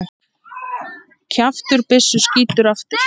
Kjaftur byssu skýtur aftur.